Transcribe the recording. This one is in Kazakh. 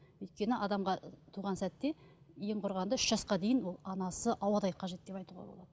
өйткені адамға туған сәтте ең құрығанда үш жасқа дейін ол анасы ауадай қажет деп айтуға болады